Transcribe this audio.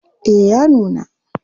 Eh ya nuna.